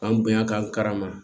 An bonya ka karama